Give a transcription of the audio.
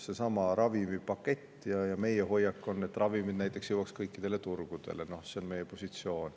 Meie hoiak on, et näiteks ravimid jõudma kõikidele turgudele, see on meie positsioon.